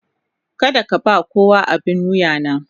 Kada ka ba kowa abin wuya na.